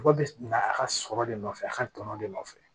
Mɔgɔ bɛ na a ka sɔrɔ de nɔfɛ a ka tɔnɔ de nɔfɛ